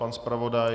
Pan zpravodaj?